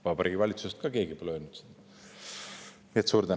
Vabariigi Valitsusest ka pole keegi seda öelnud.